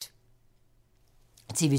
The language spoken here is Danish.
TV 2